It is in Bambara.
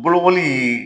Bolokoli